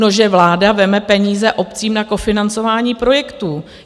No, že vláda vezme peníze obcím na kofinancování projektů.